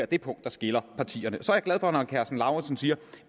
det punkt der skiller partierne så er jeg glad for at herre karsten lauritzen siger